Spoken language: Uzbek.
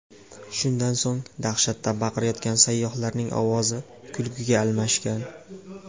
Shundan so‘ng dahshatdan baqirayotgan sayyohlarning ovozi kulguga almashgan.